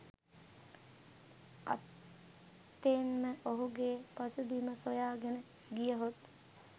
අත්තෙන්ම ඔහුගේ පසුබිම සොයාගෙන ගියහොත්